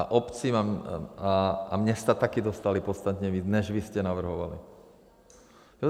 A obce a města taky dostaly podstatně víc, než vy jste navrhovali.